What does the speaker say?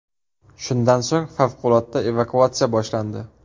Shundan so‘ng favqulodda evakuatsiya boshlandi.